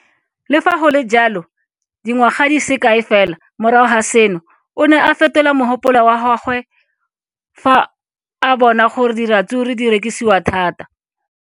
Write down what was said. Le fa go le jalo, dingwaga di se kae fela morago ga seno, o ne a fetola mogopolo wa gagwe fa a bona gore diratsuru di rekisiwa thata.